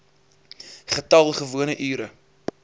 getal gewone ure